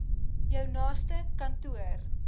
jou naaste kantoor